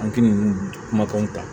An k'i kumakanw ta